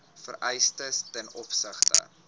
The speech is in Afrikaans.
vereistes ten opsigte